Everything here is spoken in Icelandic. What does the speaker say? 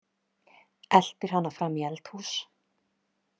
Eltir hana fram í eldhús.